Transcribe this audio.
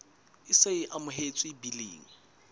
e se e amohetswe biling